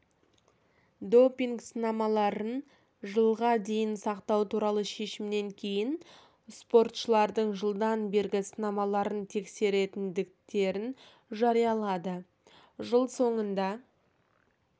допинг сынамаларын жылға дейін сақтау туралы шешімнен кейін спортшылардың жылдан бергі сынамаларын тексеретіндіктерін жариялады жыл соңында